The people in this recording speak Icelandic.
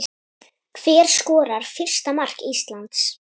Hver skorar fyrsta mark Íslands?